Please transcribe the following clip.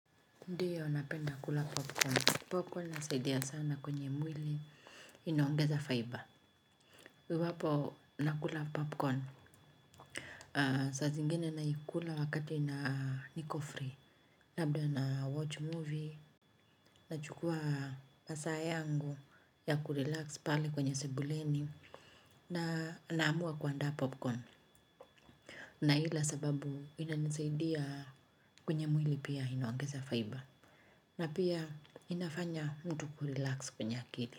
Ndiyo napenda kula popcorn. Popcorn inasaidia sana kwenye mwili inoangeza fibre. Iwapo nakula popcorn. Saa zingine naikula wakati na niko free. Labda na watch movie nachukua. Masaa yangu ya ku relax pale kwenye sebuleni na naamua kuandaa popcorn. Naila kwa sababu inanisaidia kwenye mwili wangu pia inaongeza fibre. Na pia inafanya mtu ku relax kwenye akili.